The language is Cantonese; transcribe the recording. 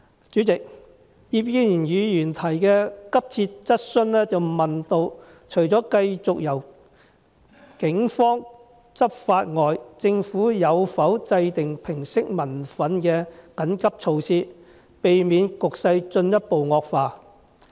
主席，葉建源議員提出的急切質詢問到，除了繼續由警方執法外，政府有否制訂平息民憤的緊急措施，以免局勢進一步惡化。